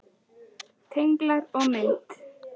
Tenglar og mynd